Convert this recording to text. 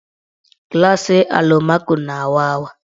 Glasị alụmaco na-awa awa.